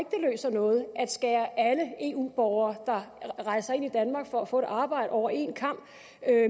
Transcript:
noget at skære alle eu borgere der rejser ind i danmark for få et arbejde over en kam